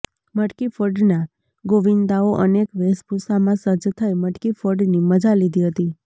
મટકીફોડના ગોવિંદાઓ અનેક વેશભૂષામાં સજ્જ થઇ મટકીફોડની મજા લીધી હતી